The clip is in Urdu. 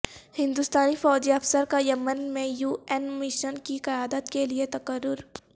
ہندوستانی فوجی افسر کا یمن میں یو این مشن کی قیادت کیلئے تقرر